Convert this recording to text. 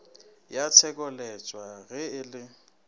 ya tshekoleswa ge e le